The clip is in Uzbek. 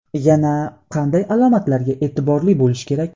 Yana qanday alomatlarga e’tiborli bo‘lish kerak?